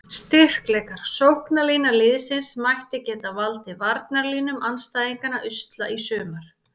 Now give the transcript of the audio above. Styrkleikar: Sóknarlína liðsins ætti að geta valdið varnarlínum andstæðinganna usla í sumar.